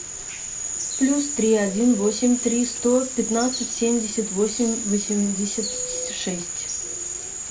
плюс три один восемь три сто пятнадцать семьдесят восемь восемьдесят шесть